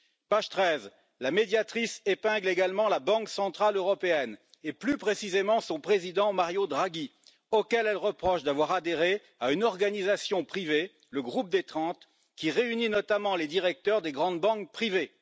Page 13, la Médiatrice épingle également la Banque centrale européenne et plus précisément son président Mario Draghi, auquel elle reproche d'avoir adhéré à une organisation privée, le Groupe des 30, qui réunit notamment les directeurs des grandes banques privées.